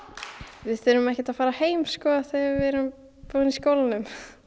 við þurfum ekkert að fara heim sko þegar við erum búin í skólanum